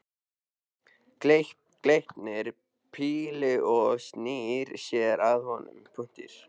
Gleypir pillu og snýr sér að honum.